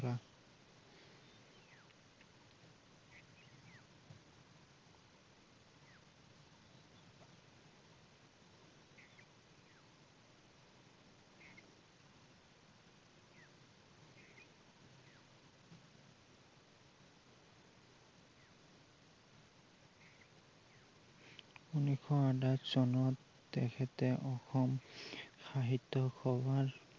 উন্নৈশস আদাৰ চনত তেখেতে অসম সাহিত্য সভাৰ